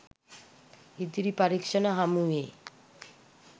ඉදිරි පරීක්ෂණ හමුවේ